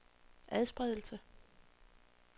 adspredelse